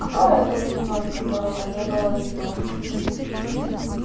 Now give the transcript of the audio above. кто этот чужой которого не было видно